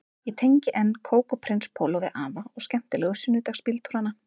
Ég tengi enn kók og prins póló við afa og skemmtilegu sunnudagsbíltúrana